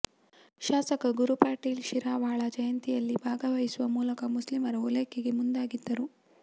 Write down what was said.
ಶಾಸಕ ಗುರು ಪಾಟೀಲ್ ಶಿರವಾಳ ಜಯಂತಿಯಲ್ಲಿ ಭಾಗವಹಿಸುವ ಮೂಲಕ ಮುಸ್ಲಿಮರ ಓಲೈಕೆಗೆ ಮುಂದಾಗಿದ್ದರು